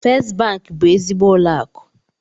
Fest banki bụ ezigbo ụlọ akụ.